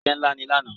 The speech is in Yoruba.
Iṣẹ́ ńlá ni lánàá.